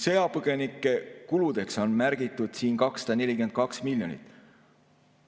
Sõjapõgenike kuludeks on märgitud siin 242 miljonit.